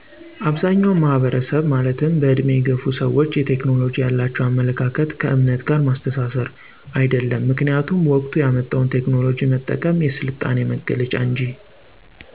አብዛኛዉ ማህበረሰብ ማለትም በዕድሜ የገፉ ሰዎች የቴክኖሎጂ ያላቸዉ አመለካከት ከዕምነት ጋር ማስተሳሰር። አይደለም ምክኒያቱም ወቅቱ ያመጣዉን ቴክኖሎጂ መጠቀም የስልጣኔ መገለጫ እንጂ